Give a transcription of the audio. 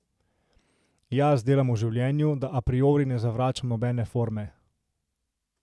Jaz delam v življenju, da apriori ne zavračam nobene forme.